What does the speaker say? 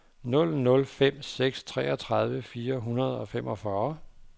nul nul fem seks treogtredive fire hundrede og femogfyrre